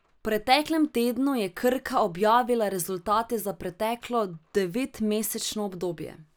V preteklem tednu je Krka objavila rezultate za preteklo devetmesečno obdobje.